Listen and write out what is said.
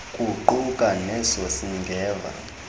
kuquka neso singeva